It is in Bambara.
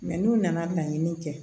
Mɛ n'u nana laɲini kɛ